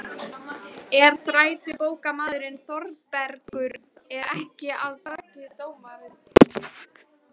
En þrætubókarmaðurinn Þórbergur er ekki af baki dottinn.